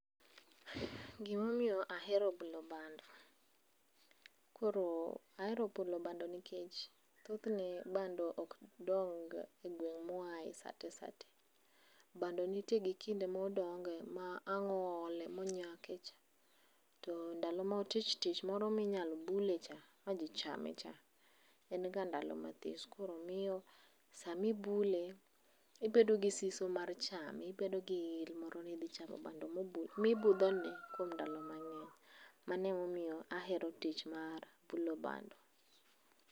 Gimomiyo ahero bulo bando. Koro ahero bulo bando nikech, thothne bando ok dongga e gweng' muuaye sate sate. Bando nitie gi kinde modonge, ma ang' oole monyakecha. To ndalo motichtich moro minyalo bule cha, ma ji cham cha, en ga ndalo mathis. Koro miyo sami ibule ibedo gi siso mar chame, ibedo gi il moro ni idhi chamo bando mibudhone kuom ndalo mang'eny. Mano emomiyo ahero tich mar bulo bando.